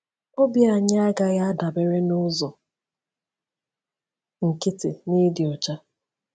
Obi anyị agaghị adabere n’ụzọ nkịtị n’ịdị ọcha.